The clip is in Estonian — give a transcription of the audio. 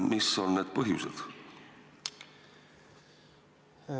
Mis on selle põhjused?